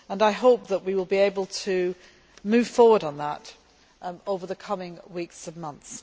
us. I hope that we will be able to move forward on that over the coming weeks and months.